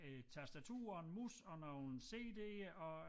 Et tastatur og en mus og nogle cd'er og